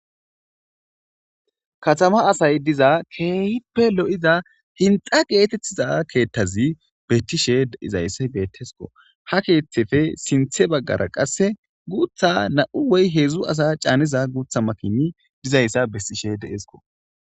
Katama asay diza keeyippe lo'iza hinxa geetettiza keettazi bettishe izayssa beettesko ha keeththefe sinthe baggara qasse guutha na'u woy heedzdzu asa caaniza guutha makini dizayssa bessishe deesko.